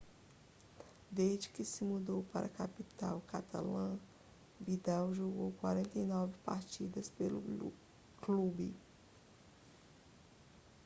desde que se mudou para a capital catalã vidal jogou 49 partidas pelo clube